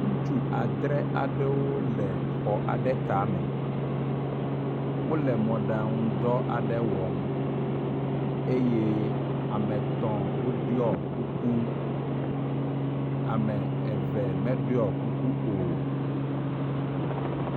Ŋutsu adre aɖewo le xɔ aɖe tame, wole mɔɖaŋudɔ aɖe wɔm eye ame etɔ̃ woɖui kuku, ame eve meɖɔ kuku o.